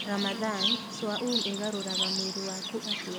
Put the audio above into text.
Ramadhan: Swaum ĩgarũraga mwĩrĩ waku atĩa?